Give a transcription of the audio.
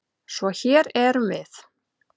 Svo hér erum við.